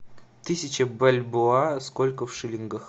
тысяча бальбоа сколько в шиллингах